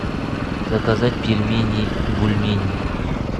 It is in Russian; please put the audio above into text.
заказать пельмени бульмень